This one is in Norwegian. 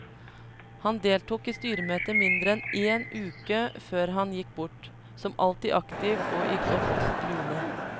Han deltok i styremøte mindre enn én uke før han gikk bort, som alltid aktiv og i godt lune.